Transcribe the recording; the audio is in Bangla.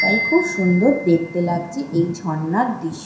তাই খুব সুন্দর দেখতে লাগছে এই ঝর্ণার দৃশ --